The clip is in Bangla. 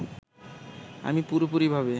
আমি পুরোপুরিভাবে